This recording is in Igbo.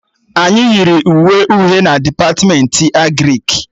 Anyị yiri uwe uhie na Depatmentị Agrịk